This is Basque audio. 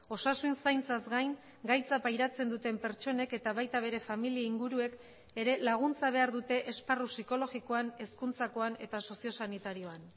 osasun zaintzaz gain gaitza pairatzen duten pertsonek eta baita bere familia inguruek ere laguntza behar dute esparru psikologikoan hezkuntzakoan eta sozio sanitarioan